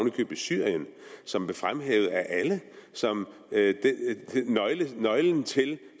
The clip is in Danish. i købet syrien som blev fremhævet af alle som nøglen til